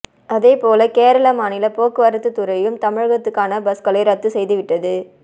அதே போல கேரள மாநில போக்குவரத்துத்துறையும் தமிழகத்துக்கான பஸ்களை ரத்து செய்துவிட்டது